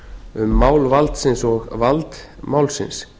um mál valdsins og vald málsins